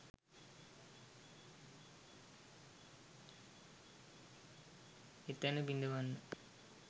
එතැන බිඳවන්න